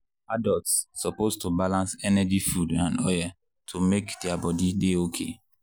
adults suppose to balance energy food and oil to make their body dey okay.